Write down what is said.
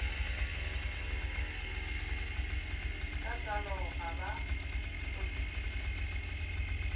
ka tsalo ga ba tlhophiwe